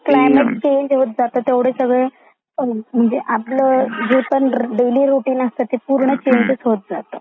दररोज planet change होत जात म्हणजे आपले जे पण डेलि रूटीन असता ते सगळ चेंज होत जाता.